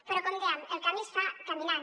però com dèiem el camí es fa caminant